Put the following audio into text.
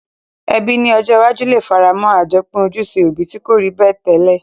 Ebí ni ojó iwájú le faramó àjopín ojúse òbi ti ko rí bẹ́ẹ̀ tẹ́lẹ̀